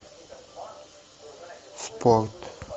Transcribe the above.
в порт